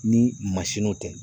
Ni mansininw tɛ